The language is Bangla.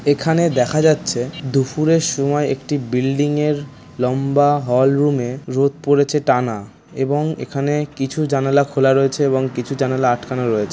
এখানে দেখা যাচ্ছে দুপুরের সময় একটি বিল্ডিং এর লম্বা হলরুম এ রোদ পড়েছে টানা এবং এখানে কিছু জানালা খোলা রয়েছে এবং কিছু জানালা আটকানো রয়েছে।